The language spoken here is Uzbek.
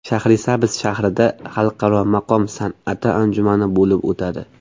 Shahrisabz shahrida Xalqaro maqom san’ati anjumani bo‘lib o‘tadi.